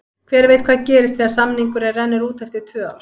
Hver veit hvað gerist þegar samningurinn rennur út eftir tvö ár?